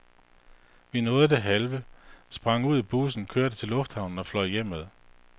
Vi nåede det hele, sprang ud i bussen, kørte til lufthavnen og fløj hjemad.